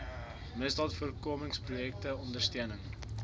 misdaadvoorkomingsprojekte ter ondersteuning